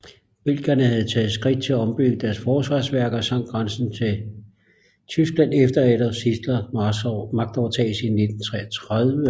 Belgierne havde taget skridt til at ombygge deres forsvarsværker langs grænsen til Tyskland efter Adolf Hitlers magtovertagelse i januar 1933